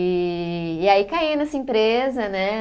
E e aí caí nessa empresa, né?